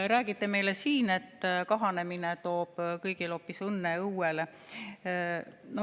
Räägite meile siin, et kahanemine toob kõigile hoopis õnne õuele.